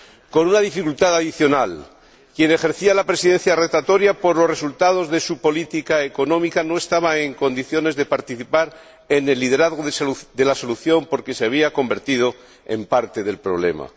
Con una dificultad adicional quien ejercía la Presidencia rotatoria, por los resultados de su política económica, no estaba en condiciones de participar en el liderazgo de la solución porque se había convertido en parte del problema.